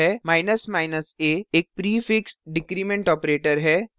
a एक prefix decrement prefix decrement operator है